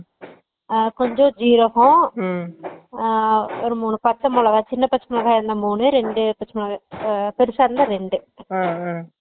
அஹ் கொஞ்சோ ஜீரகோ அஹ் ஒரு மூணு பச்ச மொளகா சின்ன மொளக இருந்தா மூணு ரெண்டு மொளக அஹ் பெருசா இருந்த ரெண்டு